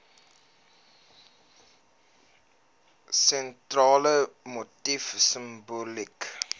sentrale motief simboliek